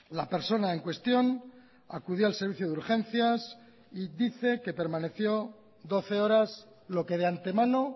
la persona en cuestión acudió al servicio de urgencias y dice que permaneció doce horas lo que de antemano